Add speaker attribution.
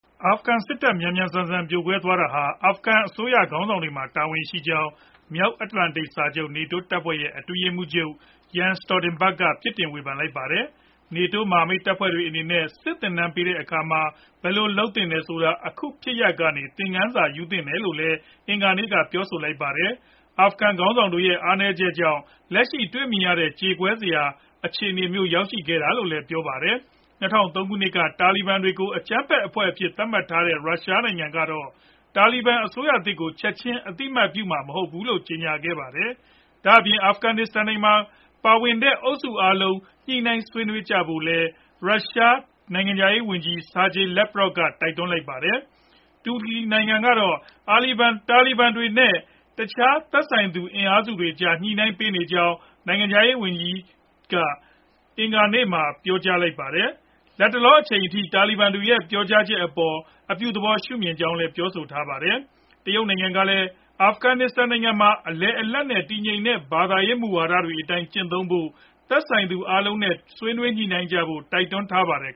Speaker 1: အာဖဂန်စစ်တပ် မြန်မြန်ဆန်ဆန် ပြိုကွဲသွားရတာဟာ အာဖဂန်အစိုးရ ခေါင်းဆောင်တွေမှာ တာဝန်ရှိကြောင်း မြောက်အတ္တလန်တိတ်စာချုပ် နေတိုး တပ်ဖွဲ့ရဲ့ အတွင်းရေးမှူးချုပ် Jens Stoltenberg က ပြစ်တင်ဝေဖန်လိုက်ပါတယ်။ နေတိုးမဟာမိတ်တပ်ဖွဲ့အနေနဲ့ စစ်သင်တန်းတွေပေးတဲ့အခါမှာ ဘယ်လိုလုပ်သင့်တယ်ဆိုတာ အခုဖြစ်ရပ်ကနေ သင်ခန်းစာယူသင့်တယ်လို့လည်း အင်္ဂါနေ့ကပဲ ပြောဆိုလိုက်ပါတယ်။ အာဖဂန်ခေါင်းဆောင်တွေရဲ့ အားနည်းချက်ကြောင့် လက်ရှိတွေ့မြင်နေရတဲ့ ကြေကွဲစရာ အခြေအနေမျိုး ရောက်ခဲ့ရတာလို့လည်း ပြောပါတယ်။ ၂၀၀၃ ခုနှစ်က တာလီဘန်တွေကို အကြမ်းဖက်အဖွဲ့အဖြစ် သတ်မှတ်ထားတဲ့ ရုရှားနိုင်ငံကတော့ တာလီဘန်အစိုးရသစ်ကို ချက်ချင်း အသိအမှတ်ပြုမှာ မဟုတ်ဘူးလို့ ကြေညာခဲ့ပါတယ်။ ဒါအပြင် အာဖဂန်နိုင်ငံရေးမှာ ပါဝင်တဲ့ အုပ်စုအားလုံး ညှိနှိုင်းဆွေးနွေးကြဖို့လည်း ရုရှားနိုင်ငံခြားရေးဝန်ကြီး Sergey Lavrovက တိုက်တွန်းလိုက်ပါတယ်။ တူရကီနိုင်ငံကတော့ တာလီဘန်တွေနဲ့ တခြားသက်ဆိုင်သူ အင်အားစုတွေကြား ညှိနှိုင်းပေးနေကြောင်း နိုင်ငံခြားရေးဝန်ကြီးက အင်္ဂါနေ့မှာပဲ ပြောဆိုထားပြီး၊ လတ်တလောအချိန်အထိ တာလီဘန်တွေရဲ့ ပြောကြားချက်တွေအပေါ် အပြုသဘောရှုမြင်ကြောင်း ပြောဆိုခဲ့တာပါ။ တရုတ်နိုင်ငံကလည်း အဖဂန်နစ္စတန်နိုင်ငံမှာ အလယ်အလတ် နဲ့ တည်ငြိမ်တဲ့ ဘာသာရေး မူဝါဒတွေအတိုင်းကျင့်သုံးဖို့၊ သက်ဆိုင်သူတွေအားလုံးနဲ့ ဆွေးနွေးညှိနှိုင်းဖို့ တိုက်တွန်းထားပါတယ်